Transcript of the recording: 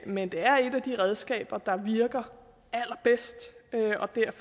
men det er et af de redskaber der virker allerbedst